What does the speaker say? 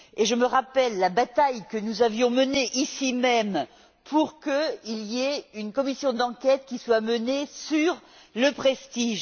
Je me rappelle la bataille que nous avions menée, ici même, pour qu'une commission d'enquête soit créée sur le Prestige.